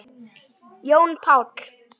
Jón Páll.